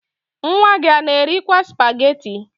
Nwa gị a na-erikwaa spageti?